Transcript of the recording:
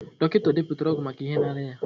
Dọkịta deputara ọgwụ maka ihe na-arịa ya.